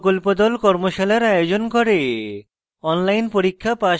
কর্মশালার আয়োজন করে